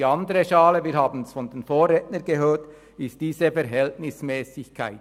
Die andere Schale, wir haben es von den Vorrednern gehört, ist diese Verhältnismässigkeit.